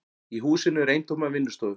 Í húsinu eru eintómar vinnustofur.